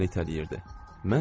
Nənə məni itələyirdi.